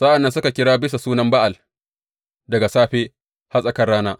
Sa’an nan suka kira bisa sunan Ba’al daga safe har tsakar rana.